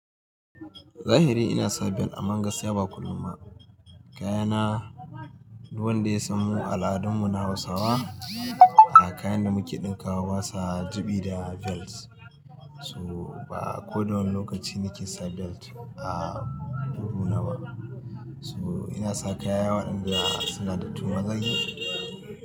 Zahiri ina sa belt aman gaskiya ba kullum ba. Kayana, duk wanda ya san mu al'adun mu na Hausawa, a kayan da muke ɗinkawa basa jiɓi da belt. So ba ko dawane lokaci nake sa belt a kugu na ba. So ina saka kaya waɗanda suna da tumaki.